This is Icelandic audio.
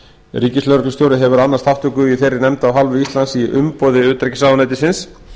ríkislögreglustjóri hefur annast þátttöku í þeirri nefnd af hálfu íslands í umboði utanríkisráðuneytisins